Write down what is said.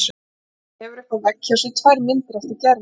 Hann hefur uppi á vegg hjá sér tvær myndir eftir Gerði.